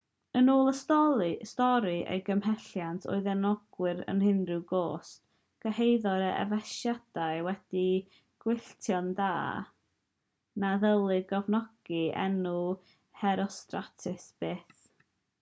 yn ôl y stori ei gymhelliant oedd enwogrwydd ar unrhyw gost cyhoeddodd yr effesiaid wedi gwylltio na ddylid cofnodi enw herostratus byth